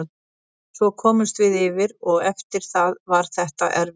Svo komumst við yfir og eftir það var þetta erfitt.